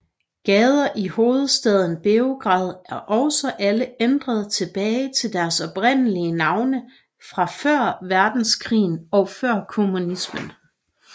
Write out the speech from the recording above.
Gader i hovedstaden Beograd er også alle ændret tilbage til deres oprindelige navne fra før verdenskrigen og før kommunismen